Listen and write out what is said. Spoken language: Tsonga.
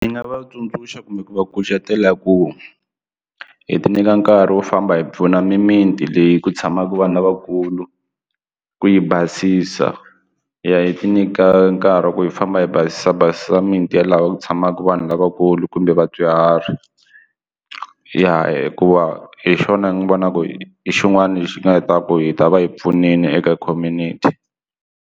Ndzi nga vatsundzuxa kumbe ku va kucetela ku hi ti nyika nkarhi wo famba hi pfuna mimiti leyi ku tshamaka vanhu lavakulu ku yi basisa hi ya hi ti nyika nkarhi wa ku yi famba va hi basisa bazi a miti ya laha ku tshamaka vanhu lavakulu kumbe vadyuhari ya hikuva hi xona hi n'wi vona ku hi hi xin'wana lexi nga hi taka hi ta va hi pfunile eka community.